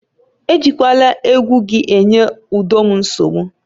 Ejikwala egwu gị enye udo m nsogbu!